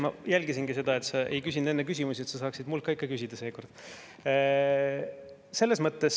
Ma jälgisingi seda, et sa ei küsinud enne küsimusi, et saaksid mult ikka küsida seekord.